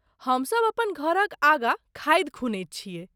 हमसभ अपन घरक आगाँ खाधि खुनैत छियै।